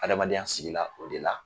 Adamadenya sigila o de la